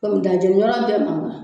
komi daa jeni yɔrɔ in te ma wa